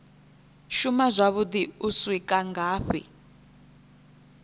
shuma zwavhuḓi u swika ngafhi